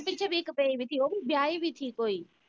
ਏਦੇ ਪਿੱਛੇ ਵੀ ਇਕ ਪਈ ਦੀ ਸੀ ਓਵੀ ਬਿਆਹੀ ਹੋਈ ਸੀ ਕੋਈ